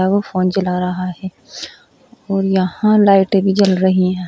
और वो फोन चला रहा है और यहां लाइटें भी जल रही हैं।